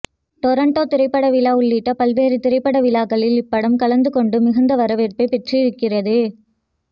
Toronto திரைப்படவிழா உள்ளிட்ட பல்வேறு திரைப்பட விழாக்களில் இப்படம் கலந்து கொண்டு மிகுந்த வரவேற்பை பெற்றிருக்கிறது